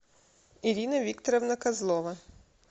ирина викторовна козлова